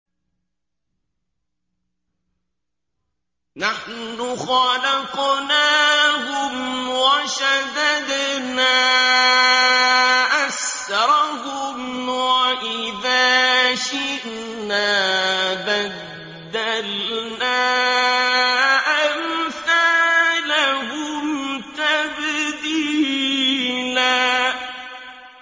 نَّحْنُ خَلَقْنَاهُمْ وَشَدَدْنَا أَسْرَهُمْ ۖ وَإِذَا شِئْنَا بَدَّلْنَا أَمْثَالَهُمْ تَبْدِيلًا